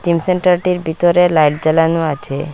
Gym সেন্টারটির বিতরে light জ্বালানো আছে।